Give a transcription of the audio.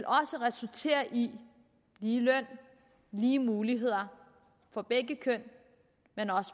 resultere i lige løn og lige muligheder for begge køn